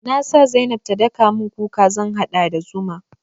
Na sa zainab ta daka mun kuka zan haɗa da zuma.